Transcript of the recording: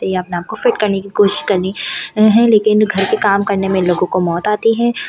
ये अपने आप को फिट करने की कोशिश करनी है लेकिन घर के काम करने में लोगों को मौत आती है।